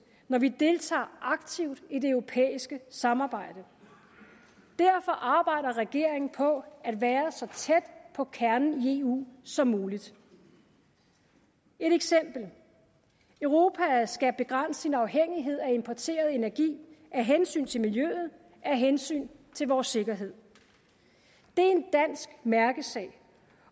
når vi deltager aktivt i det europæiske samarbejde derfor arbejder regeringen på at være så tæt på kernen i eu som muligt et eksempel europa skal begrænse sin afhængighed af importeret energi af hensyn til miljøet og af hensyn til vores sikkerhed det er en dansk mærkesag